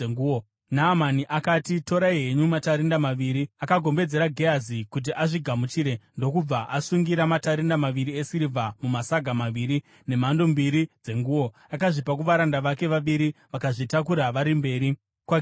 Naamani akati, “Torai henyu matarenda maviri.” Akagombedzera Gehazi kuti azvigamuchire, ndokubva asungira matarenda maviri esirivha mumasaga maviri, nemhando mbiri dzenguo. Akazvipa kuvaranda vake vaviri, vakazvitakura vari mberi kwaGehazi.